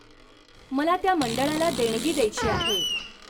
मला त्या मंडळाला देणगी द्यायची आहे.